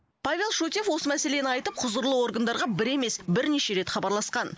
павел шутьев осы мәселені айтып құзырлы органдарға бір емес бірнеше рет хабарласқан